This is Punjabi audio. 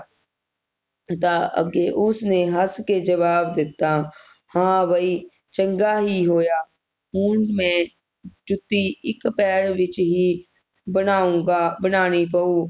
ਦਾ ਅਗੇ ਉਸਨੇ ਹੱਸ ਕੇ ਜਵਾਬ ਦਿੱਤਾ ਹਾਂ ਬਈ ਚੰਗਾ ਹੀ ਹੋਇਆ ਹੁਣ ਮੈਂ ਜੁੱਤੀ ਇਕ ਪੈਰ ਵਿਚ ਹੀ ਬਣਾਊਂਗਾ ਬਣਾਂਉਣੀ ਪਊ